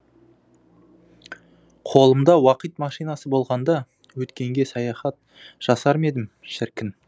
қолымда уақит машинасы болғанда өткенге саяхат жасармедім шіркін